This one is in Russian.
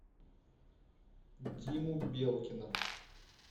диму белкина